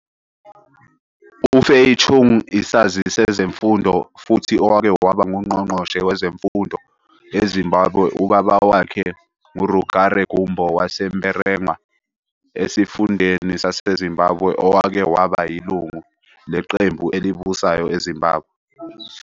UFay Chung isazi sezemfundo futhi owake waba ngungqongqoshe wezemfundo eZimbabwe Ubaba wakhe nguRugare Gumbo waseMberengwa esifundeni saseZimbabwe owake waba yilungu leqembu elibusayo eZimbabwe.